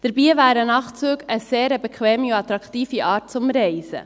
Dabei wären Nachtzüge eine sehr bequeme und attraktive Art zu reisen.